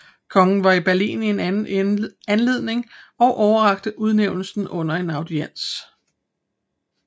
Kongen var i Berlin i anden anledning og overrakte udnævnelsen under en audiens